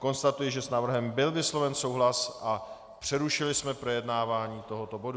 Konstatuji, že s návrhem byl vysloven souhlas a přerušili jsme projednávání tohoto bodu.